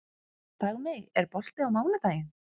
Dagmey, er bolti á mánudaginn?